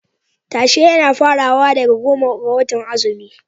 Tashe yana farawa daga goma ga watan azumi.